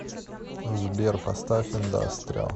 сбер поставь индастриал